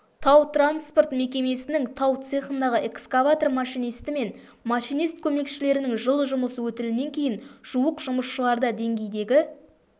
тау-транспорт мекемесінің тау цехындағы экскаватор машинисті мен машинист көмекшілерінің жыл жұмыс өтілінен кейін жуық жұмысшыларда деңгейдегі